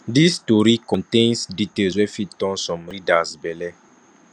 dis tori contains details wey fit turn some readers belle